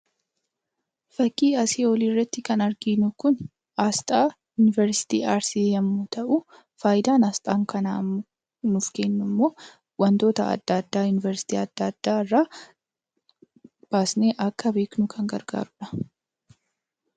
Fakkii asii oliitti kan arginu kun asxaa yuunivarsiitii arsii yoo ta'u, fayidaan asxaan kun nuuf kennummoo wantoota adda addaarraa yuunivarsiitii adda addaarraa baasnee akka beeknu kan gargaaruudha.